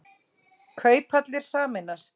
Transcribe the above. Kauphallir sameinast